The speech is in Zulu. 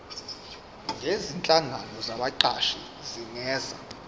nezinhlangano zabaqashi zingenza